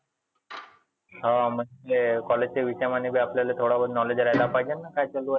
हा म्हणजे college चे विद्यमाने व्यापलेले थोडे बहुत knowledge असले पाहीजेना. काय चालु आहे तुझं?